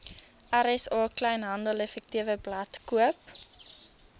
rsa kleinhandeleffektewebblad koop